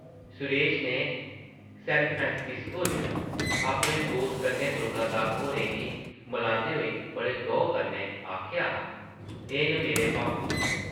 सुरेश नै सैनफ्रांसिस्को च अपने दोस्त कन्नै दुर्गा दास होरें गी मलांदे होई बड़े गौह् कन्नै आखेआ हा, एह् न मेरे पापू जी ।